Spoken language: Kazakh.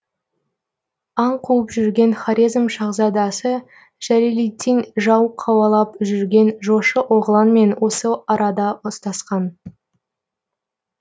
аң қуып жүрген хорезм шахзадасы жәлелетдин жау қауалап жүрген жошы оғланмен осы арада ұстасқан